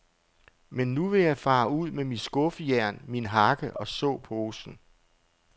Men nu vil jeg fare ud med mit skuffejern, min hakke og såposen.